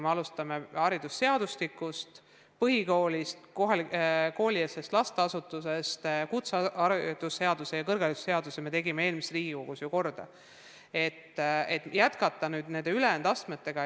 Me alustasime haridusseadustikus põhikoolist, koolieelsest lasteasutusest, kutseharidusest ja kõrgharidusest ja tahame nüüd jätkata ülejäänud astmetega.